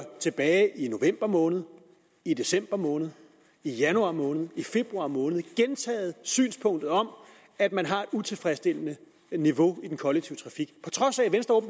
tilbage november måned i december måned i januar måned i februar måned gentaget synspunktet om at man har et utilfredsstillende niveau i den kollektive trafik på trods af at venstre